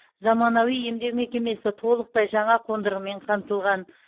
заманауи емдеу мекемесі толықтай жаңа қондырғымен қамтылған